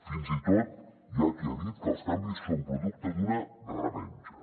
fins i tot hi ha qui ha dit que els canvis són producte d’una revenja